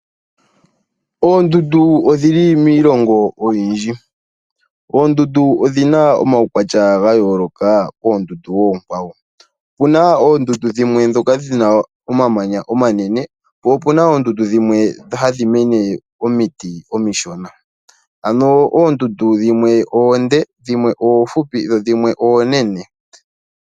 Oondundu odhi li miilongo oyindji. Dhimwe odhi na omaukwatya ga yooloka koondundu oonkwawo. Opu na dhimwe dhi na omamanya omanene po opu na woo dhimwe kudho haku mene omiti omishona. Oondundu oonde na dhimwe oohupi, dhimwe woo oonene nandhimwe ooshona.